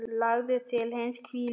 Lagður til hinstu hvílu?